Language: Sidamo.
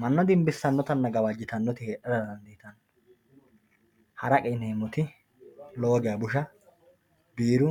manna dinbisannotanna gawajitannoti heedhara dandiitanno haraqe yineemoti lowo geya busha biiru